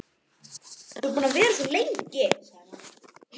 Þú ert búin að vera svo lengi, sagði mamma.